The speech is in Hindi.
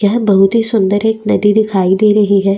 यह बहुत ही सुन्दर एक नदी दिखाई दे रही है।